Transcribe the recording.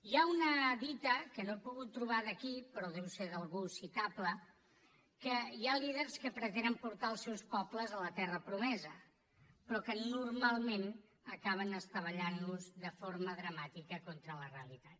hi ha una dita que no he pogut trobar de qui però deu ser d’algú citable que hi ha líders que pretenen portar els seus pobles a la terra promesa però que normalment acaben estavellant los de forma dramàtica contra la realitat